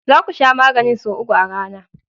Za ku Sha maganin sau uku a rana.